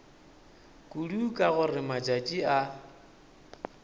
kudu ka gore matšatši a